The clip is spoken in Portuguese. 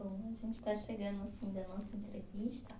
Bom, a gente está chegando ao fim da nossa entrevista.